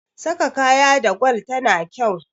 saka kaya da gwal tana kyau